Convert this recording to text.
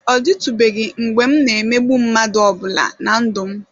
Ọ dịtụbeghị mgbe m na-emegbu mmadụ ọbụla na ndụ m.